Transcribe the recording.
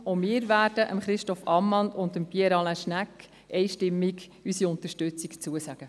Auch wir werden Christoph Ammann und Pierre Alain Schnegg einstimmig unsere Unterstützung zusagen.